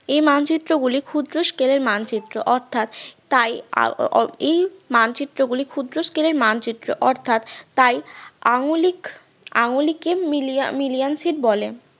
এই মানচিত্র গুলি ক্ষুদ্র scale এর মানচিত্র অর্থাৎ তাই~ এই মানচিত্র গুলি ক্ষুদ্র scale এর মানচিত্র অর্থাৎ তাই আঙুলিক . বলে